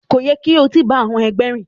Ko yẹ ki o ti ba àwọn ẹgbẹ rìn.